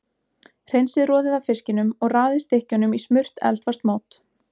Hreinsið roðið af fiskinum og raðið stykkjunum í smurt eldfast mót.